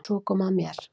Svo kom að mér.